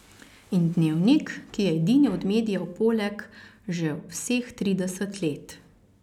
In Dnevnik, ki je edini od medijev poleg že vseh trideset let.